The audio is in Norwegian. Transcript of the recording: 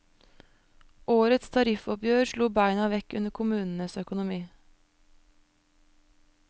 Årets tariffoppgjør slo beina vekk under kommunens økonomi.